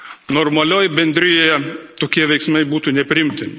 Normalioje bendrijoje tokie veiksmai būtų nepriimtini.